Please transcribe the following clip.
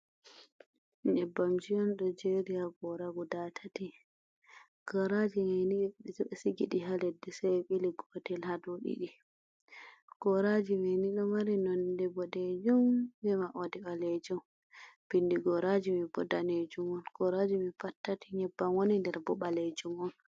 Nyebbam ji on ɗo jeri ha gora guda tati, goraji mai ni ɗo sigi ɗi ha leɗɗi sai ɓe ɓili gotel ha dou ɗiɗi, goraji mai ni ɗo mari nonde boɗejum be maɓɓode ɓalejum, bindi goraji mai ni bo denejum on, goraji mai pat tati nyebbam woni nder bo ɓalejum on.